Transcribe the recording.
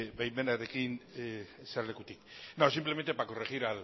baimenarekin jesarlekutik no simplemente para corregir